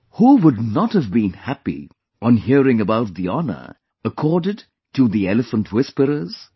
Who would not have been happy on hearing about the honour accorded to the 'The Elephant Whisperers'